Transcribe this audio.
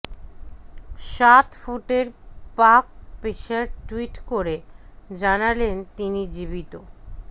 সাত ফুটের পাক পেসার টুইট করে জানালেন তিনি জীবিত